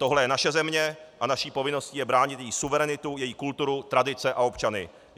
Tohle je naše země a naší povinností je bránit její suverenitu, její kulturu, tradice a občany.